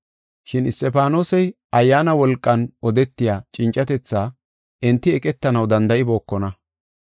Shin Isxifaanosey Ayyaana wolqan odetiya cincatethaa enti eqetanaw danda7ibookona.